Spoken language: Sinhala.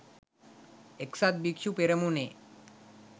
එක්සත් භික්‍ෂු පෙරමුණේ